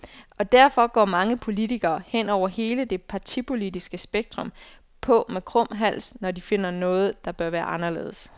Og derfor går mange politikere, hen over hele det partipolitiske spektrum, på med krum hals, når de finder noget, der bør være anderledes.